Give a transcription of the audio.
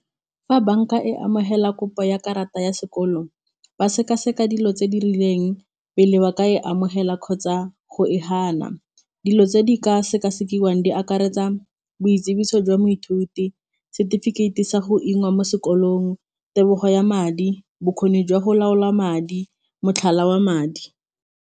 Fa banka e amogela kopo ya karata ya sekolo ba seka-seka dilo tse di rileng pele ba ka e amogela kgotsa go e fana, dilo tse di ka sekasekiwa di akaretsa boitsibiso jwa moithuti, setefikeiti sa go mo sekolong, tebogo ya madi, bokgoni jwa go laola madi motlhala wa madi.